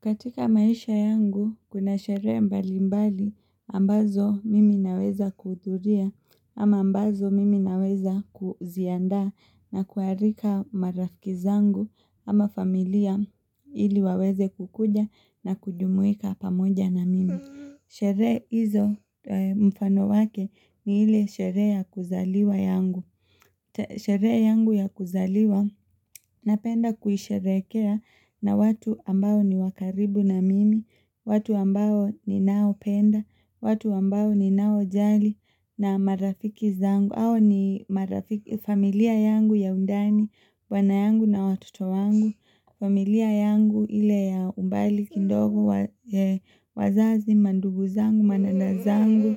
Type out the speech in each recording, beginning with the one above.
Katika maisha yangu, kuna sherehe mbali mbali ambazo mimi naweza kuhudhuria ama ambazo mimi naweza kuziandaa na kuarika marafiki zangu ama familia ili waweze kukuja na kujumuika pamoja na mimi. Sherehe hizo mfano wake ni hile sherehe ya kuzaliwa yangu. Sherehe yangu ya kuzaliwa na penda kuhisherekea na watu ambao ni wakaribu na mimi, watu ambao ni nao penda, watu ambao ni nao jali na marafiki zangu. Ayo ni familia yangu ya undani, bwanayangu na watoto wangu. Familia yangu ile ya umbali, kindogo, wazazi, manduguzangu, madadazangu,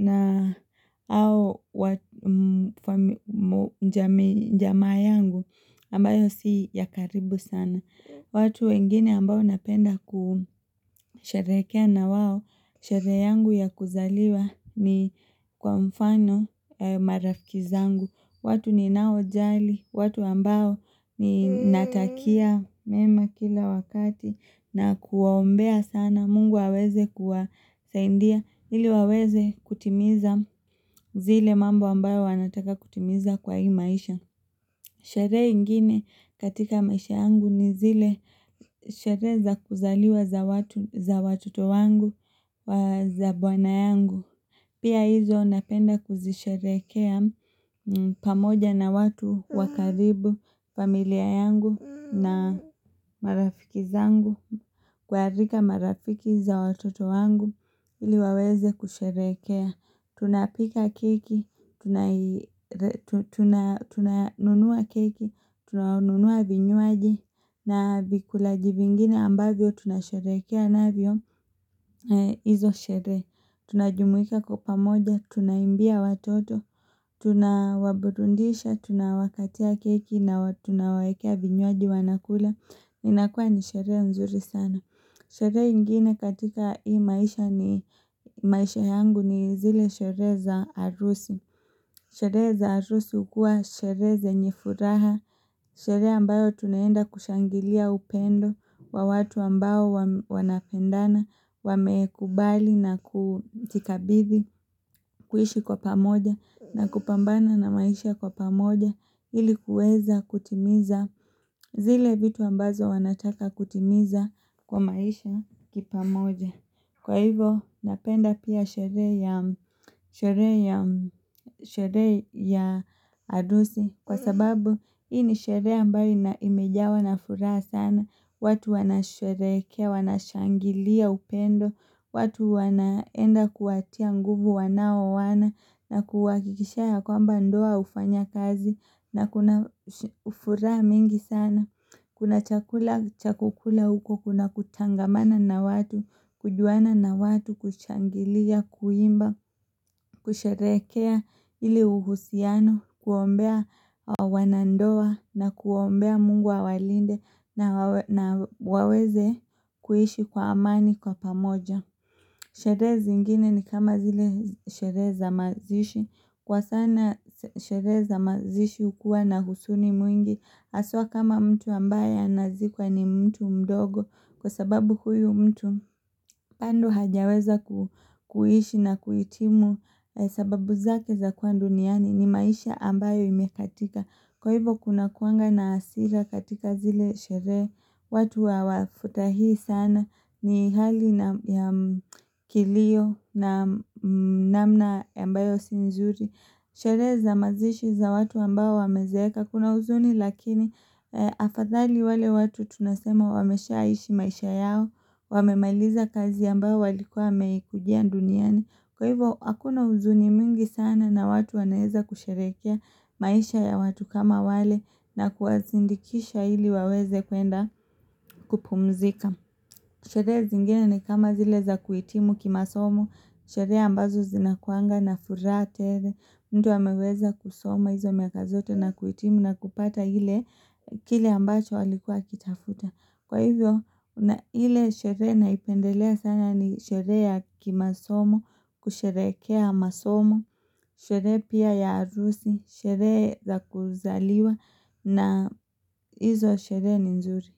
na au jamaa yangu, ambayo si yakaribu sana. Watu wengine ambao napenda kusherehekea na wao, sherehe yangu ya kuzaliwa ni kwa mfano marafikizangu. Watu ni nao jali, watu ambao ni natakia mema kila wakati na kuombea sana, mungu aweze kuwasaindia, nili waweze kutimiza zile mambo ambayo wanataka kutimiza kwa hii maisha. Sherehe ingine katika maisha yangu ni zile sherehe za kuzaliwa za watoto wangu wa za bwana yangu. Pia hizo napenda kuzisherehekea pamoja na watu wakaribu familia yangu na marafiki zangu. Kwa harika marafiki za watoto wangu ili waweze kusherehekea. Tunapika keki, tunanunua keki, tunanunua vinywaji na vikulaji vingine ambavyo tunasherehekea na vyo izo sherehe Tunajumuika kwa pa moja, tunaimbia watoto, tunawaburundisha, tunawakatia keki na tunawawekea vinywaji wanakula inakuwa ni sherehe nzuri sana Sherehe ingine katika hii maisha ni maisha yangu ni zile sherehe za arusi Sherehe za arusi ukuwa sherehe zenye furaha Sherehe ambayo tunaenda kushangilia upendo Wawatu ambao wanapendana Wameekubali na kutikabithi kuishi kwa pamoja na kupambana na maisha kwa pamoja ili kueza kutimiza zile vitu ambazo wanataka kutimiza kwa maisha kipa moja Kwa hivo napenda pia sherehe ya adusi Kwa sababu hii ni sherehe ambayo imejawa na furaha sana watu wana sherekea, wanashangilia upendo watu wanaenda kuwatia nguvu wanaoana na kuwakikishia ya kwamba ndoa ufanya kazi na kuna furaha mingi sana Kuna chakula chakukula huko, kuna kutangamana na watu kujuana na watu, kuchangilia, kuimba, kusherehekea ili uhusiano Kuombea wanandoa na kuombea mungu awalinde na waweze kuhishi kwa amani kwa pamoja Sherehe zi ingine ni kama zile sherehe za mazishi Kwa sana sherehe za mazishi ukuwa na husuni mwingi Aswa kama mtu ambaye anazikwa ni mtu mdogo Kwa sababu huyu mtu bado hajaweza kuhishi na kuitimu sababu zake za kuwa duniani ni maisha ambayo imekatika Kwa hivo kuna kuanga na asira katika zile sherehe watu wa wafutahi sana ni hali na kilio na namna ambayo sinzuri Sherehe za mazishi za watu ambao wamezeeka kuna uzuni lakini afadhali wale watu tunasema wamesha aishi maisha yao Wamemailiza kazi ambao walikuwa wameikujia duniani Kwa hivyo akuna uzuni mingi sana na watu wanaeza kusherehekea maisha ya watu kama wale na kuazindikisha ili waweze kuenda kupumzika Sherehe zingine ni kama zile za kuitimu kimasomo Sherehe ambazo zinakuanga na furahe tere mtu ameweza kusoma hizo miaka zote na kuitimu na kupata hile kile ambacho alikuwa akitafuta. Kwa hivyo hile sherehe naipendelea sana ni sherehe ya kimasomo, kusherehekea masomo, sherehe pia ya arusi, sherehe za kuzaliwa na hizo sherehe ni nzuri.